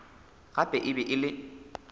gape e be e le